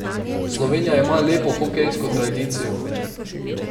Slovenija ima lepo hokejsko tradicijo.